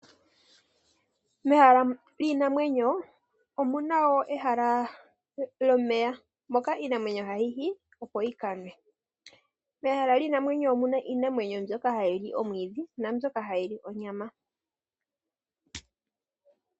Mehala liinamwenyo omuna wo ehala lomeya moka iinamwenyo hayi yi opo yi kanwe. Mehala liinamwenyo omuna mbyoka hayi li omwiidhi, naambyoka hayi li onyama.